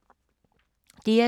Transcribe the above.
DR2